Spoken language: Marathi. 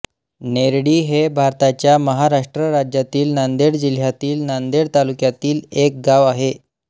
नेरळी हे भारताच्या महाराष्ट्र राज्यातील नांदेड जिल्ह्यातील नांदेड तालुक्यातील एक गाव आहे